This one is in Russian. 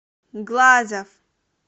глазов